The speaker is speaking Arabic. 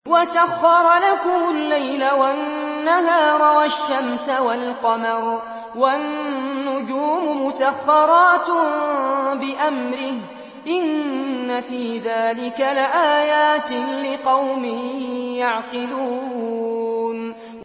وَسَخَّرَ لَكُمُ اللَّيْلَ وَالنَّهَارَ وَالشَّمْسَ وَالْقَمَرَ ۖ وَالنُّجُومُ مُسَخَّرَاتٌ بِأَمْرِهِ ۗ إِنَّ فِي ذَٰلِكَ لَآيَاتٍ لِّقَوْمٍ يَعْقِلُونَ